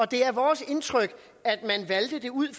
det er vores indtryk at man valgte det ud